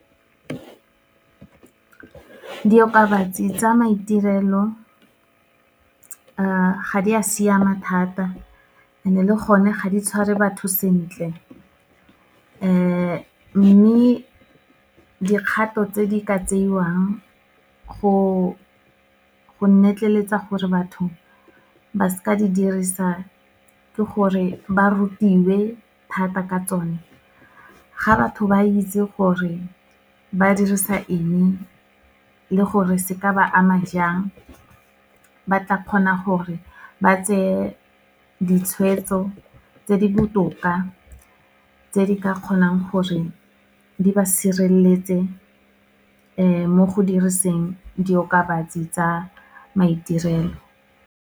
Diokabatsi tsa maiterelo, ga di a siama thata and-e le gone ga di tshware batho sentle. Mme dikgato tse di ka tseiwang go gore batho ba seka di dirisa, ke gore ba rutiwe thata ka tsone. Ga batho ba itse gore ba dirisa eng e, le gore se ka ba ama jang, ba tla kgona gore ba tseye ditshwetso tse di botoka, tse di ka kgonang gore di ba sireletse mo go diriseng diokabatsi tsa maiterelo.